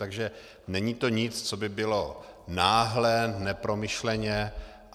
Takže není to nic, co by bylo náhlé, nepromyšlené.